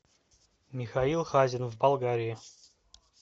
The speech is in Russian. михаил хазин в болгарии